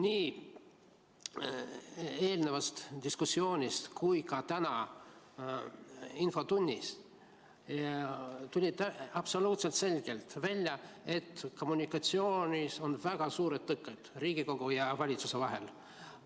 Nii eelnevast diskussioonist kui ka täna infotunnis tuli absoluutselt selgelt välja, et kommunikatsioonis on väga suured tõkked Riigikogu ja valitsuse vahel.